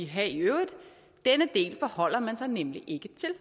have i øvrigt denne del forholder man sig nemlig ikke til